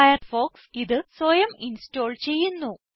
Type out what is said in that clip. Firefox ഇത് സ്വയം install ചെയ്യുന്നു